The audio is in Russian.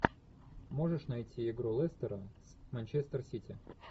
можешь найти игру лестера с манчестер сити